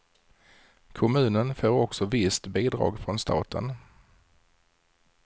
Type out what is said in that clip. Kommunen får också visst bidrag från staten.